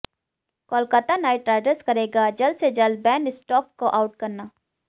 Kolkata knight riders करेगा जल्द से जल्द बेन स्टोक्स को आउट करना